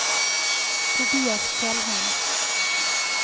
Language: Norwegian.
Tobias Fjellheim